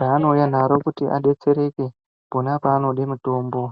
raanouya naro kuti adetsereke pona panoda mitombo.